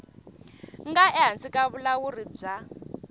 nga ehansi ka vulawuri bya